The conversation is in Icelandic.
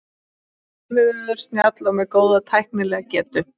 Yfirvegaður, snjall og með góða tæknilega getu.